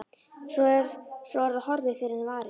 Svo er það horfið fyrr en varir.